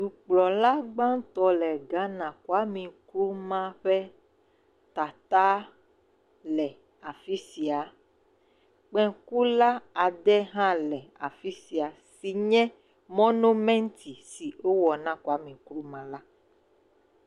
Dukplɔlagbãtɔ̃ le Ghana Kwame Nkrumah ƒe tata le afi sia, kpekula ade hã le afi sia si nye monomenti si wowɔ na Kwame Nkrumah la.